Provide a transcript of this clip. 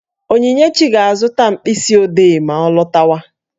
Onyinyechi ga-azụta mkpịsị odee ma ọ lọtawa